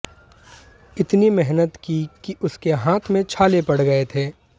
इतनी मेहनत की कि उसके हाथ में छाले पड़ गए थे